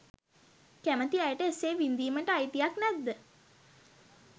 කැමති අයට එසේ විදීමට අයිතියක් නැද්ද